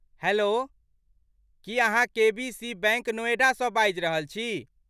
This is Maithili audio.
हैल्लो, की अहाँ के.बी.सी. बैंक नोएडासँ बाजि रहल छी?